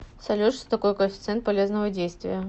салют что такое коэффициент полезного действия